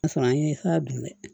O y'a sɔrɔ an ye sara dun dɛ